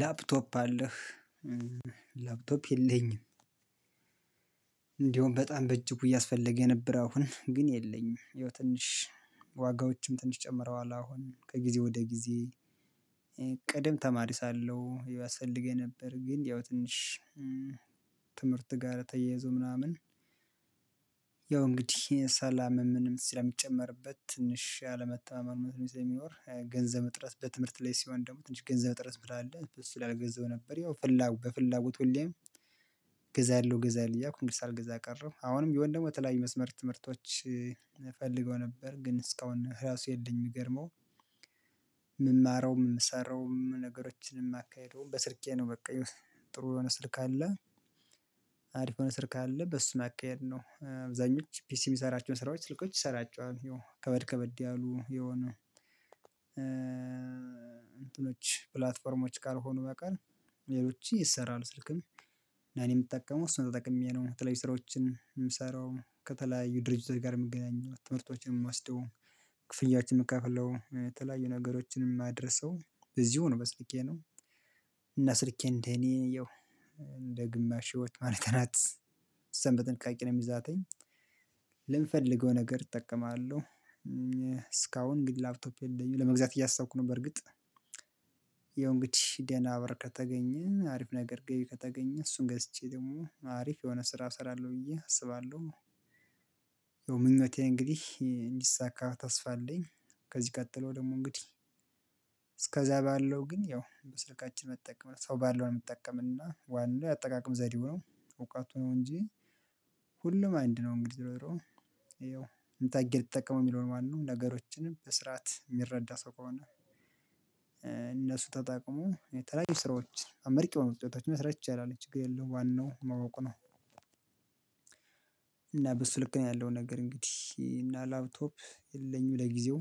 ላፕቶፕ አለህ ላፕቶፕ የለኝም። እንደውም በጣም በእጅጉ እያስፈለገ የነበረ አሁን ግን የለኝም። የው ትንሽ ዋጋዎችም ትንሽ ጨምረዋል አሁን ከጊዜ ወደ ጊዜ። ቅድም ተማሪ ሳለሁ ያስፈልገኝ ነበር ግን ያው ትንሽ ትምህርት ጋር ተያይዞ ምናምን። ያው እንግዲህ ሰላም ምንም ስለሚጨመርበት ትንሽ አለመተማመን ስለሚኖር ገንዘብ እጥረት በትምህርት ላይ ሲሆን ደግሞ ትንሽ ገንዘብ እጥረት ስላለ ላይ አልገዛው ነበር። ያው ፍላጎት በፍላጎት ሁሌም ገዛለሁ እገዛለሁ እያልኩ እንግዲህ ሳልገዛ ቀረሁ። አሁንም ቢሆን የተለያዩ የመስመር ትምህርቶች እፈልገው ነበር ግን እስካሁን ራሱ የለኝም። የሚገርመው የምማረውም የምሰራውም ነገሮችንም እማካሂደውም በስልኬ ነው። በቃ ጥሩ የሆነ ስልክ አለ። አሪፍ የሆነ ስልክ አለ በሱ ማካሄድ ነው። አብዛኞች ፒሲ የሚሰራቸውን ስራዎች ስልኮች ይሰፘቸዋል ያው ከበድ ከበድ ያሉ የሆነው። እንትኖች ፕላትፎርሞች ካልሆኑ በቀር ሌሎች ይሰራሉ። ስልክም እኔ የምጠቀመው እሱን ተጠቅሜ ነው። የተለያዩ ስራዎችን የምሰራው ከተለያዩ ድርጅት ጋር የምገናኘው ትምህርቶችን የምወስደው ክፍያዎችን የምከፍለው የተለያዩ ነገሮችንም የማደርሰው በዚሁ ነው በስልኬ ነው። እና ስልኬ እንደኔ እንደ ግማሽ ህይወት ማለት ናት። በጥንቃቄ ነው የምይዛተኝ። ለምፈልገው ነገር እጠቀማለሁ። እስካሁን ግን ላፕቶፕ የለኝም ለመግዛት እያሰብኩ ነው። በርግጥ ያው እንግዲህ ደና በር ከተገኘ አሪፍ ነገር ገቢ ከተገኘ እሱን ገዝቼ ደግሞ አሪፍ የሆነ ስራ እሰራለሁ ብዬ አስባለሁ። የምኞቴ እንግዲህ እንዲሳካ ተስፋ አለኝ። ከዚህ ቀጥሎ ደግሞ እንግዲህ እስከዛ ባለው ግን ያው በስልካችን መጠቀም ሰው ባለው ነው የሚጠቀምና ዋናው የአጠቃቀም ዘዴው ነው። እውቀቱ ነው እንጂ። ሁሉም አንድ ነው እንግዲህ ዝሮ ዝሮ ይኸው እንዴት አድርጌ ልትጠቀመው የሚለውን ማለት ነው። ነገሮችን በስርዓት የሚረዳ ሰው ከሆነ። እነሱ ተጠቅሞ የተለያዩ ስራዎችን አመርቂ የሆኑ ውጤቶችን መስራት ይቻላል ችግር የለውም ዋናው ማወቅ ነው። እና በሱ ልክ ነው ያለው ነገር እንግዲህ እና ላፕቶፕ የለኝም ለጊዜው።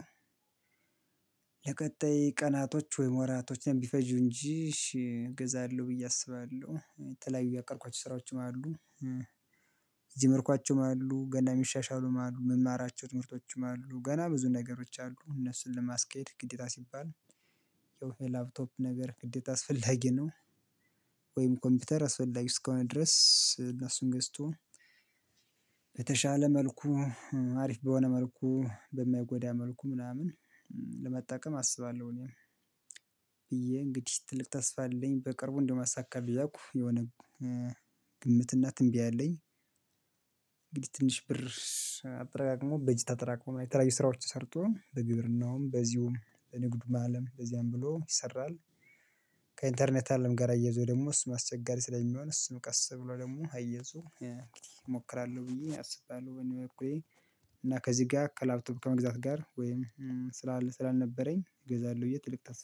ለቀጣይ ቀናቶች ወይም ወራቶችን ቢፈጁ እንጂ እገዛለሁ ብዬ አስባለሁ የተለያዩ ያቀድኳቸው ስራዎችም አሉ። የጀመርኳቸውም አሉ ገና ሚሻሻሉም አሉ የምማራቸው ትምህርቶችም አሉ ገና ብዙ ነገሮች አሉ እነሱን ለማስኬድ ግዴታ ሲባል ያው የላፕቶፕ ነገር ግዴታ አስፈላጊ ነው። ወይም ኮምፒውተር አስፈላጊ እስከሆነ ከሆነ ድረስ እነሱን ገዝቶ በተሻለ መልኩ አሪፍ በሆነ መልኩ በማይጎዳ መልኩ ምናምን ለመጠቀም አስባለሁ። እኔም ብዬ እንግዲህ ትልቅ ተስፋ አለኝ በቅርቡ እንደማሳካ እያልኩ የሆነ ግምትና ትንቢያ አለኝ። እንግዲህ ትንሽ ብር አጠራቅሞ በጅት አጠራቅሞ የተለያዩ ስራዎች ሰርቶ በግብርናውም በዚሁም በንግድ አለም በዚያም ብሎ ይሰራል። ከኢንተርኔት አለም ጋር አያይዞ ደግሞ እሱ አስቸጋሪ ስለሚሆን እሱን ቀስ ብሎ ደግሞ አያይዞ እሞክራለሁ ብዬ አስባለሁ። በኔ በኩል እና ከዚህ ጋር ከላፕቶፕ ከመግዛት ጋር ወይም። ስላልነበረኝ እገዛለሁ ብዬ ትልቅ ታስፋ